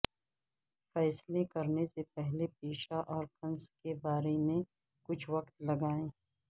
فیصلے کرنے سے پہلے پیشہ اور کنس کے بارے میں کچھ وقت لگائیں